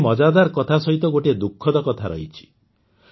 କିନ୍ତୁ ଏହି ମଜାଦାର୍ କଥା ସହିତ ଗୋଟିଏ ଦୁଃଖଦ କଥା ରହିଛି